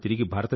Vande Mataram